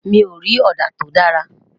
mí o rí òdà to dára